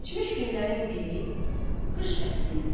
Keçmiş günlərin biri qış fəsli idi.